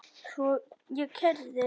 Svo ég keyrði.